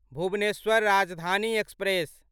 Bhubaneswar Rajdhani express